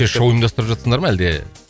шоу ұйымдастырып жатырсыңдар ма әлде